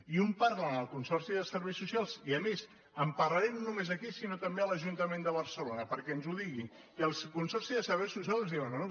i un parla amb el consorci de serveis socials i a més en parlarem no només aquí sinó també a l’ajuntament de barcelona perquè ens ho digui i el consorci de serveis socials ens diu no no